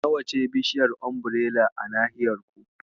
Nawa ce bishaiyar Umbirela a nahiyar ku?